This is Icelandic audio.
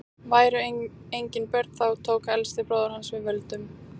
væru engin börn þá tók elsti bróðir hans við völdum